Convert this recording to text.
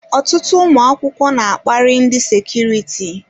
Ọtụtụ ụmụ akwụkwọ n'akpari ndị sekuriti.